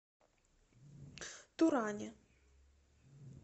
туране